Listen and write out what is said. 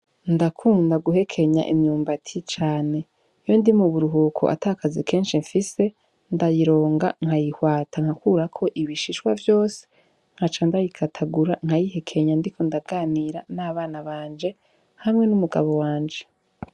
Ndakunda guhekenya imyumbati cane iyo ndi mu buruhuko ata kazi kenshi fise ndayironga nkayihwata nkakurako ibishishwa vyose nkaca ndayikatagura nkayihekenya ndiko ndaganira n' abana banje hamwe n' umugabo wanje.